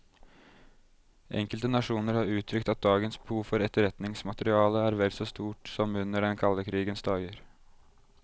Enkelte nasjoner har uttrykt at dagens behov for etterretningsmateriale er vel så stort som under den kalde krigens dager.